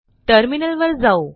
टर्मिनलवर जाऊ